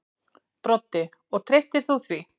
Broddi: Og þú treystir því?